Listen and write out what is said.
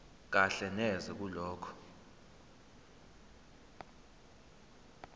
kahle neze kulokho